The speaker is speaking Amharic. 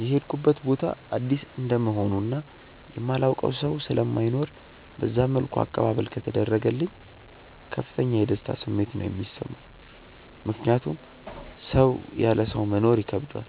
የሄድኩበት ቦታ አዲስ እንደመሆኑ እና የማላውቀው ሰው ስለማይኖር በዛ መልኩ አቀባበል ከተደረገልኝ ከፍተኛ የደስታ ስሜት ነው የሚሰማኝ። ምክንያቱም ሰው ያለ ሰው መኖር ይከብደዋል፤